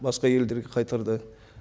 басқа елдерге қайтарды